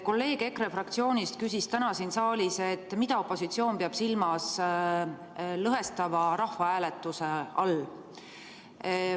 Kolleeg EKRE fraktsioonist küsis täna siin saalis, mida opositsioon peab silmas lõhestava rahvahääletuse all.